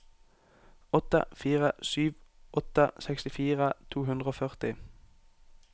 åtte fire sju åtte sekstifire to hundre og førti